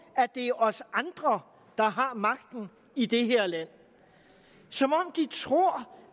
at det er os andre der har magten i det her land som om de tror